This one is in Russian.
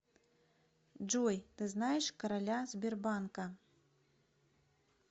джой ты знаешь короля сбербанка